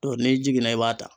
n'i jiginna i b'a ta.